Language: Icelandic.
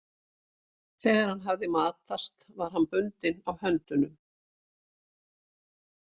Þegar hann hafði matast var hann bundinn á höndunum.